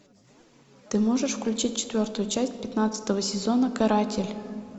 ты можешь включить четвертую часть пятнадцатого сезона каратель